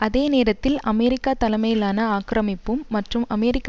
அதே நேரத்தில் அமெரிக்கா தலைமையிலான ஆக்கிரமிப்பும் மற்றும் அமெரிக்க